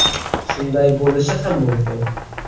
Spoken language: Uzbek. Shunday bo‘lishi ham mumkin.